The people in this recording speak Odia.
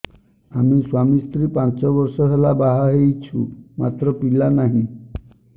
ଆମେ ସ୍ୱାମୀ ସ୍ତ୍ରୀ ପାଞ୍ଚ ବର୍ଷ ହେଲା ବାହା ହେଇଛୁ ମାତ୍ର ପିଲା ନାହିଁ